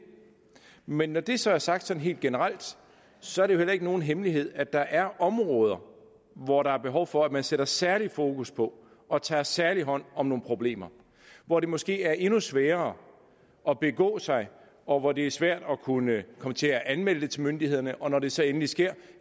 men når det så er sagt sådan helt generelt så er det jo heller ikke nogen hemmelighed at der er områder hvor der er behov for at man sætter særlig fokus på og tager særlig hånd om nogle problemer hvor det måske er endnu sværere at begå sig og hvor det er svært at kunne komme til at anmelde det til myndighederne og når det så endelig sker